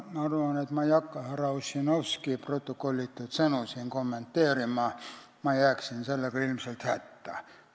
Ma ei hakka siin härra Ossinovski protokollitud sõnu kommenteerima, ma jääksin sellega ilmselt hätta.